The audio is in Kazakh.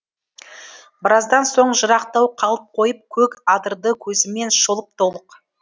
біраздан соң жырақтау қалып қойып көк адырды көзімен шолып толық